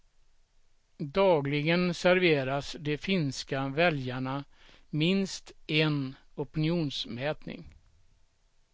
Dagligen serveras de finska väljarna minst en opinionsmätning.